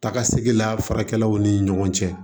Takasegi la farakɛlaw ni ɲɔgɔn cɛ